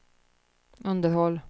underhåll